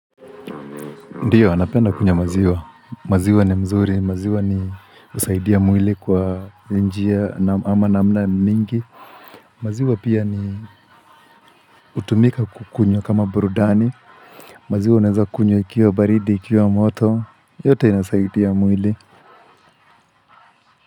Ndiyo, napenda kunywa maziwa, maziwa ni mzuri, maziwa husaidia mwili kwa njia, ama na mna mingi. Maziwa pia hutumika kukunywa kama burudani, maziwa unaeza kunywa ikiwa baridi, ikiwa moto, yote inasaidia mwili.